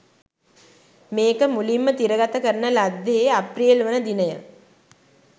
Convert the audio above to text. මේක මුලින්ම තිරගත කරන ලද්දේහේ අප්‍රේල්වන දිනය.